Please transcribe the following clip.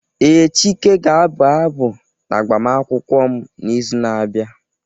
Ee, Chike ga-abụ abụ n'agbamakwụkwọ m n'izu na-abịa.